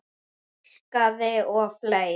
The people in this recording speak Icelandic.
Túlkaði og fleira.